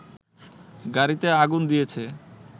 গাড়ীতে আগুন দিয়েছে